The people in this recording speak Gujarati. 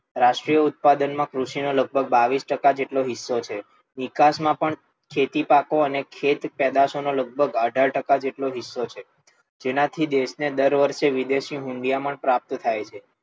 રાષ્ટ્રીય ઉત્પાદન માં કૃષિ નો લગભગ બાવીસ ટકા જેટલો હિસ્સો છે, નિકાસ માં પણ ખેતી પાકો અને ખેત પેદાસો નો લગભગ અઢાર ટકા જેટલો હિસ્સો છે. તેનાથી દેશ ને દર વર્ષે વિદેશી હુંડિયામણ પ્રાપ્ત થાય છે.